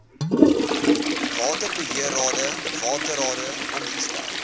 waterbeheerrade waterrade ingestel